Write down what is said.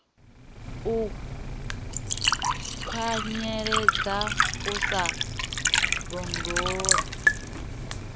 u kwanyeledza u sa londola